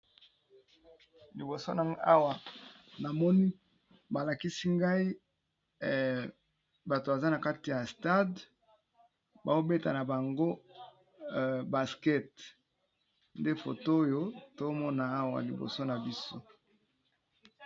liboso na awa na moni balakisi ngai bato baza na kati ya stade baobeta na bango baskete nde foto oyo tomona awa liboso na biso